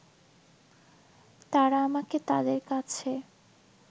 তারা আমাকে তাদের কাছে